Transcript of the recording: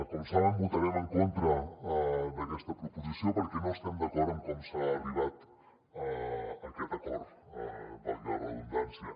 com saben votarem en contra d’aquesta proposició perquè no estem d’acord amb com s’ha arribat a aquest acord valgui la redundància